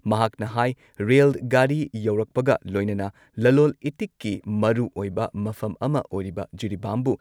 ꯃꯍꯥꯛꯅ ꯍꯥꯏ ꯔꯦꯜ ꯒꯥꯔꯤ ꯌꯧꯔꯛꯄꯒ ꯂꯣꯏꯅꯅ ꯂꯂꯣꯜ ꯏꯇꯤꯛꯀꯤ ꯃꯔꯨꯑꯣꯏꯕ ꯃꯐꯝ ꯑꯃ ꯑꯣꯏꯔꯤꯕ ꯖꯤꯔꯤꯕꯥꯝꯕꯨ